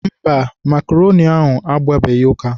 Mba, makroni ahụ agbabeghị ụka.